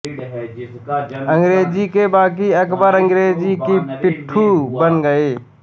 अंग्रेज़ी के बाकी अख़बार अंग्रजों के पिट्ठू बन गये